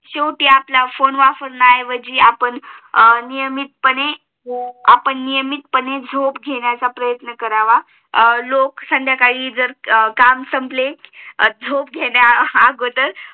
शेवटी आपला फोने वापरण्या ऐवजी आपण नियमित पने झोप घेण्याचा प्रयत्न करावा लोक संद्याकाली आपली काम संपले झोप घ्या अगोदर